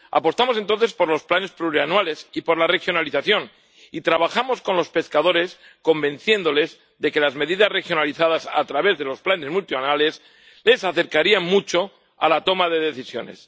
Apostamos entonces por los planes plurianuales y por la regionalización, y trabajamos con los pescadores, convenciéndoles de que las medidas regionalizadas a través de los planes multianuales les acercaría mucho a la toma de decisiones.